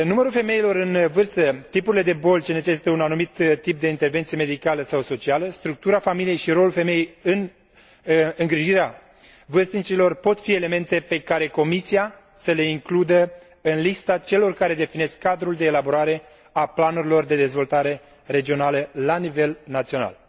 de intervenție medicală sau socială, structura familiei și rolul femeii în îngrijirea vârstnicilor pot fi elemente pe care Comisia să le includă în lista celor care definesc cadrul de elaborare a planurilor de dezvoltare regională la nivel național.